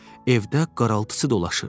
Evdə qaraltısı dolaşırdı.